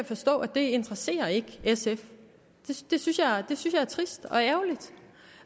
forstå ikke interesserer sf det synes jeg er trist